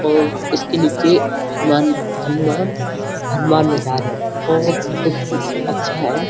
और इसके नीचे हनुमान हनुमान हनुमान बाजार गई और बहुत ही अच्छा है।